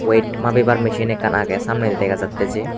wet mabibar misin ekkan agey samnedi dega jatte je.